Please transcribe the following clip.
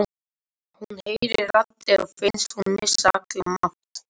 Hún heyrir raddir og finnst hún missa allan mátt.